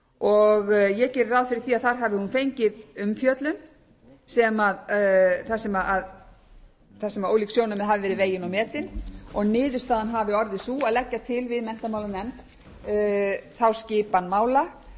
og ég geri ráð fyrir því að þar hafi hún fengið umfjöllun þar sem ólík sjónarmið hafi verið vegin og metin og niðurstaðan hafi orðið sú að leggja til við menntamálanefnd þá skipan mála